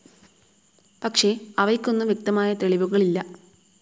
പക്ഷെ അവയ്ക്കൊന്നും വ്യക്തമായ തെളിവുകളില്ല.